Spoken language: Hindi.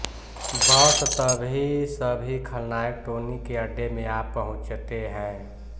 बस तभी सभी खलनायक टोनी के अड्डे में आ पहुँचते हैं